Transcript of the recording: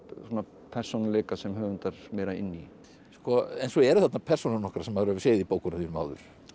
persónuleika sem höfundar meira inn í en svo eru þarna persónur nokkrar sem maður hefur séð í bókunum þínum áður